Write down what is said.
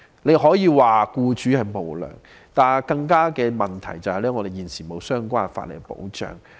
大家可以說僱主無良，但更重要的問題是，現時沒有相關法例保障僱員。